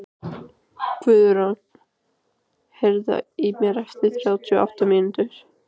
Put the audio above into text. Guðráður, heyrðu í mér eftir þrjátíu og átta mínútur.